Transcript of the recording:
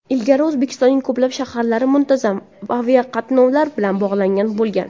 Ilgari O‘zbekistonning ko‘plab shaharlari muntazam aviaqatnovlar bilan bog‘langan bo‘lgan.